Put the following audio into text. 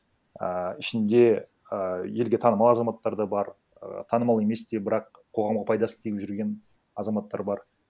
а ішінде ы елге танымал азаматтар да бар і танымал емес те бірақ қоғамқа пайдасы тиіп жүрген азаматтар бар